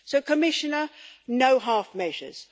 So Commissioner, no half measures.